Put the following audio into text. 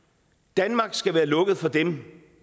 danmark skal være lukket for dem